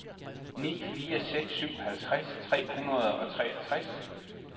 ni fire seks syv halvtreds tre hundrede og treogtres